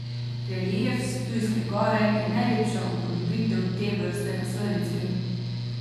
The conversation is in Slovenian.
Relief s Ptujske Gore je najlepša upodobitev te vrste na Slovenskem.